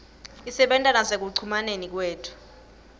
isebenta nasekucumaneni kwethu